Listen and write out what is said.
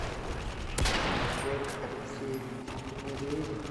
олег алексеевич медведев